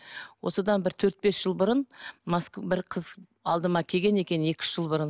осыдан бір төрт бес жыл бұрын бір қыз алдыма келген екен екі үш жыл бұрын